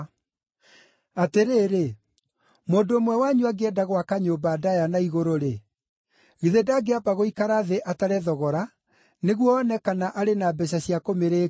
“Atĩrĩrĩ, mũndũ ũmwe wanyu angĩenda gwaka nyũmba ndaaya na igũrũ-rĩ, githĩ ndangĩamba gũikara thĩ atare thogora nĩguo one kana wĩra na mbeeca cia kũmĩrĩkia?